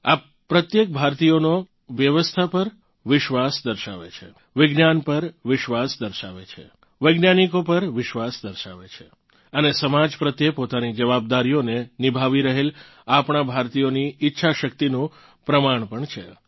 આ પ્રત્યેક ભારતીયનો વ્યવસ્થા પર વિશ્વાસ દર્શાવે છે વિજ્ઞાન પર વિશ્વાસ દર્શાવે છે વૈજ્ઞાનિકો પર વિશ્વાસ દર્શાવે છે અને સમાજ પ્રત્યે પોતાની જવાબદારીઓને નિભાવી રહેલ આપણાં ભારતીયોની ઇચ્છાશક્તિનું પ્રમાણ પણ છે